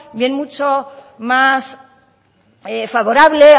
ven mucho más favorable